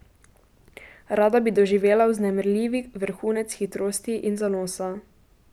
Rada bi doživela vznemirljivi vrhunec hitrosti in zanosa.